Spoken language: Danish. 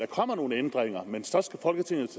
kommer nogle ændringer men så skal folketinget